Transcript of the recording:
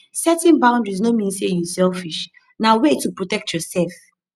setting boundaries no mean say yu selfish na way to protect yursef